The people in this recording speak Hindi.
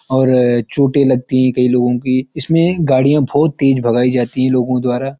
और ये चोटे लगती हैं कई लोगों की इसमे गड़ियाँ बहोत तेज भगाई जाती है लोगों द्वारा।